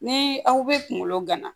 Ni aw bɛ kunkolo gana